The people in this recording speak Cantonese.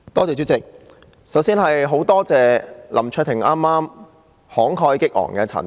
主席，首先非常感謝林卓廷議員剛才慷慨激昂的陳辭。